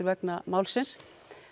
vegna málsins